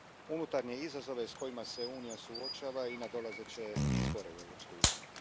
unutarnje izazove s kojima se Unija suočava i nadolazeće izbore u Europskoj uniji.